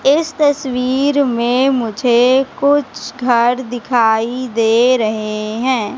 इस तस्वीर में मुझे कुछ घर दिखाई दे रहे हैं।